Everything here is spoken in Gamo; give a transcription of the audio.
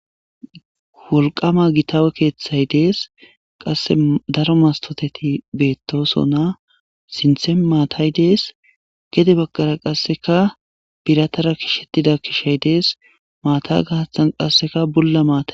wolqama gita keeththay dees qasse daro mastoteti beettosonna sinthe maatay dees gede baggara qasseka biratara kishettida kishay dees maata gahathan qasseka bulla maata